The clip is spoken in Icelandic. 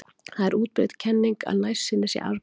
Það er útbreidd kenning að nærsýni sé arfgeng.